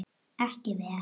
Ekki vel.